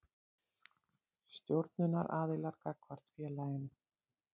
Stjórnunaraðilar gagnvart félaginu.